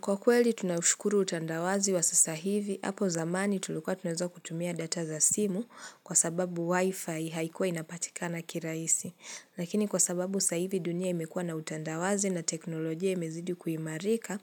Kwa kweli tunashukuru utandawazi wa sasa hivi, hapo zamani tulikuwa tunaweza kutumia data za simu kwa sababu wifi haikuwa inapatika na kirahisi. Lakini kwa sababu sasa hivi dunia imekua na utandawazi na teknolojia imezidi kuimarika,